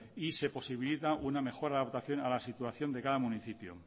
y se posibilita una mejor adaptación a la situación de cada municipio